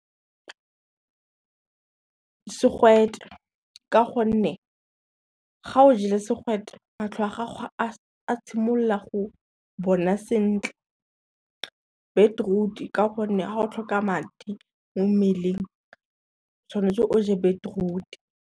Segwete ka gonne, ga o jele segwete matlho a gago a simolola go bona sentle. Beetroot ka gonne, ga o tlhoka madi mo mmeleng tshwanetse o je beetroot.